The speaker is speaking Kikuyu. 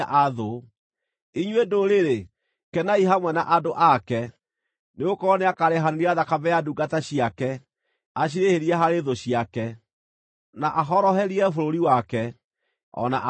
Inyuĩ ndũrĩrĩ, kenai hamwe na andũ ake, nĩgũkorwo nĩakarĩhanĩria thakame ya ndungata ciake; acirĩhĩrie harĩ thũ ciake, na ahoroherie bũrũri wake, o na andũ ake.